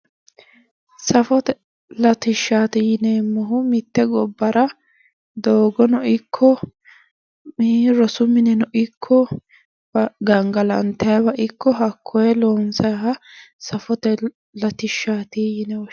Safote latishshaati yineemmohu mitte gobbara doogono ikko ii rosu mineno ikko gangalantayiiwa ikko hakkoye loonsaayiiha safote latishshaati yine woshshinanni